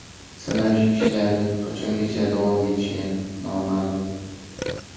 Sinash ishlari qachongacha davom etishi noma’lum.